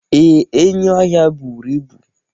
Ee, enyi ọhịa buru ibu.